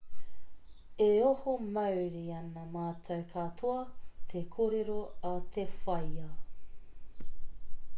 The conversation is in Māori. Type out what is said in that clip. e oho mauri ana mātou katoa te kōrero a te whaea